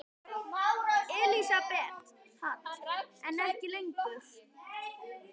Elísabet Hall: En ekki lengur?